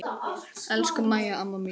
Elsku Mæja amma mín.